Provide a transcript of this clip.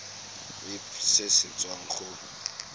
irp se se tswang go